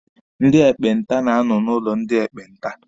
Ndị ekpenta na-anọ n'ụlọ ndị ekpenta.